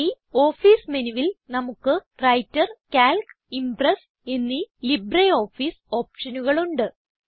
ഈ ഓഫീസ് മെനുവിൽ നമുക്ക് വ്രൈട്ടർ കാൽക്ക് ഇംപ്രസ് എന്നീ ലിബ്രിയോഫീസ് ഓപ്ഷനുകൾ ഉണ്ട്